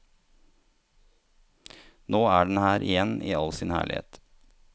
Nå er den her igjen i all sin herlighet.